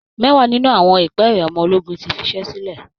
Mẹ́wàá nínú àwọn ìpẹ́ẹ̀rẹ̀ ọmọ ológun ti fiṣẹ́ sílẹ̀